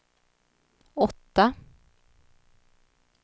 åtta